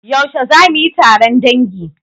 Yaushe za mu yi taron dangi?